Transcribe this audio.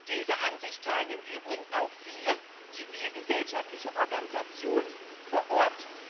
Diese Ansicht teilen im Übrigen auch viele zivilgesellschaftliche Organisationen vor Ort.